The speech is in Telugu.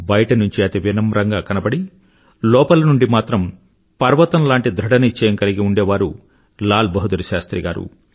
బయట నుంచి అతి వినమ్రంగా కనబడి లోపలి నుండి మాత్రం పర్వతం లాంటి ధృఢ నిశ్చయం కలిగి ఉండేవారు లాల్ బహదూర్ శాస్త్రి గారు